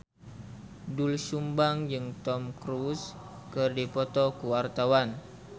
Doel Sumbang jeung Tom Cruise keur dipoto ku wartawan